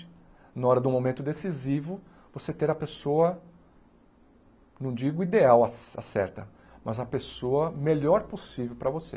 Na hora do momento decisivo, você ter a pessoa, não digo ideal a a certa, mas a pessoa melhor possível para você.